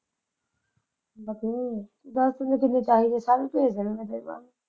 ਬਥੇਰੇ ਦੱਸ ਦਿੱਤੇ ਤਾਂ ਵੀ ਭੇਤ ਲੈਂਦੇ ਤੂੰ ਤਾਂ।